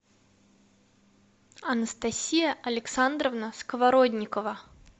анастасия александровна сковородникова